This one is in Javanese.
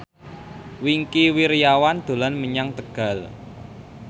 Wingky Wiryawan dolan menyang Tegal